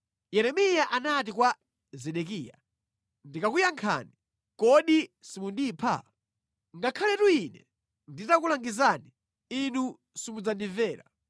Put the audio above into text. Yeremiya anati kwa Zedekiya, “Ndikakuyankhani, kodi simundipha? Ngakhaletu ine nditakulangizani, inu simudzandimvera.”